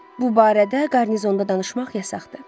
Bu barədə qarnizonda danışmaq yasaqdır.